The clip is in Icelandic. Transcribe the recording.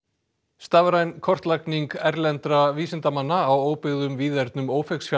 stafræn kortlagning erlendra vísindamanna á óbyggðum víðernum